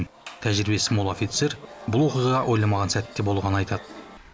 тәжірибесі мол офицер бұл оқиға ойламаған сәтте болғанын айтады